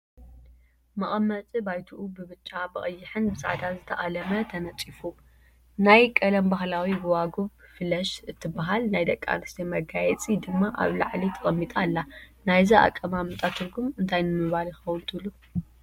መቐመጢ ባይትኡ ብብጫ፣ ብቐይሕን ብፃዕዳን ዝተኣለመ ተነፂፉ፣ ናይ ቀደም ባህላዊ ጎባጉብ ፍለሽ እትባሃል ናይ ደቂ ኣንስትዮ መጋየፂ ድማ ኣብ ላዕሊ ተቐሚጣ ኣላ፡፡ ናይዚ ኣቀማምጣ ትርጉም እንታይ ንምባል ይኸውን ትብሉ?